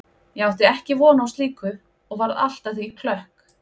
Ég átti ekki von á slíku og varð allt að því klökk.